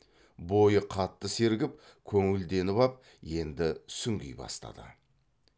бойы қатты сергіп көңілденіп ап енді сүңги бастады